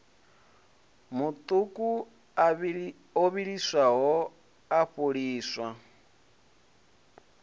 maṱuku o vhiliswaho a fholiswa